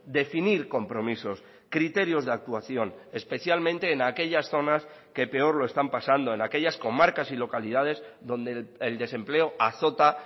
definir compromisos criterios de actuación especialmente en aquellas zonas que peor lo están pasando en aquellas comarcas y localidades donde el desempleo azota